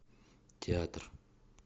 театр